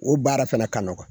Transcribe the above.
O baara fana ka nɔgɔ.